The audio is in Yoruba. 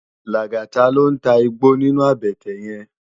Lagata ló n tá igbó ninú àbètè yèn